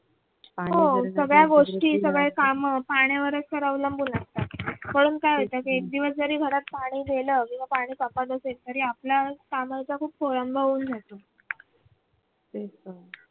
हो सगळ्या गोष्टी सगळे काम पाण्यावरच तर अवलंबून असतात म्हणून काय होत की एकदिवस जरी घरात पाणी गेलं आपल्या कामाचा खूप खोळंबा होऊन जातो